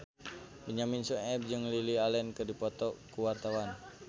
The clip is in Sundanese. Benyamin Sueb jeung Lily Allen keur dipoto ku wartawan